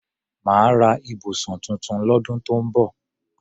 Màá ra ibùsùn tuntun lọ́dún tó ń bọ̀